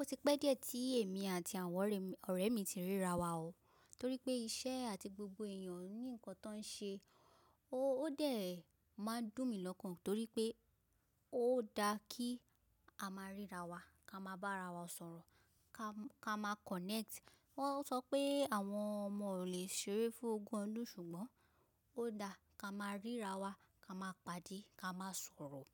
Ó ti pẹ́ díẹ̀ tí èmi àti àwọn ọ̀rẹ́ mi ti ríra wa ọ́, torí pé iṣẹ́ àti gbogbo èèyàn ní nǹkan tó ń ṣe o Ó dẹ̀ máa ń dùn mí lọ́kàn torí pé ó da kí a máa ríra wa, ká máa bá ara wa sọ̀rọ̀, ká máa connect. Wọ́n sọ pé àwọn ọmọ ò lè ṣeré fún ogún ọdún ṣùgbọ́n ó da ká máa ríra wa, ká máa pàdé, ká máa sọ̀rọ̀.